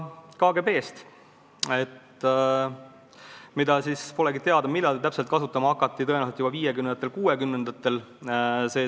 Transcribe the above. Millal täpselt seda kasutama hakati, pole teada, tõenäoliselt juba 1950.–1960. aastatel.